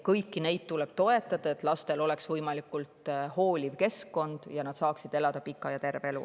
Kõiki neid peresid tuleb toetada, et lastel oleks võimalikult hooliv kasvukeskkond ning nad saaksid elada pika ja terve elu.